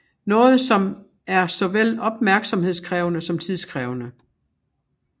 Noget som er såvel opmærksomhedskrævende som tidskrævende